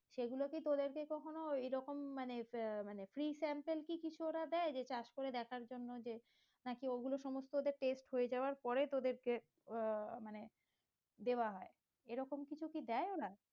সেগুলো কি তোদের কে কখনো এরকম মানে আহ মানে free sample কি কিছু ওরা দেয় যে চাষ করে দেখার জন্য যে নাকি ওগুলো সমস্ত ওদের test হয়ে যাওয়ার পরে তোদের আহ মানে দেওয়া হয় এরকম কি কিছু দেয় ওরা?